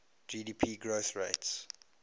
gdp growth rates